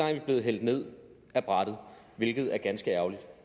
er vi blevet hældt ned af brættet hvilket er ganske ærgerligt